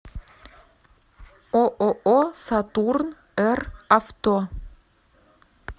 ооо сатурн р авто